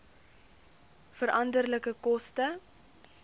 veranderlike koste